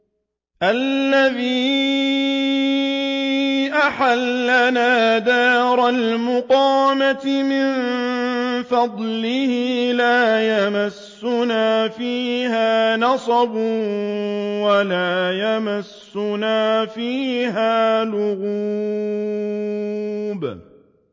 الَّذِي أَحَلَّنَا دَارَ الْمُقَامَةِ مِن فَضْلِهِ لَا يَمَسُّنَا فِيهَا نَصَبٌ وَلَا يَمَسُّنَا فِيهَا لُغُوبٌ